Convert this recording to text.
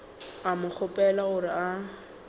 a mo kgopela gore a